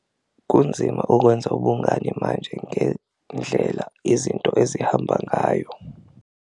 Kunzima ukwenza ubungani manje ngendlela izinto ezihamba ngayo.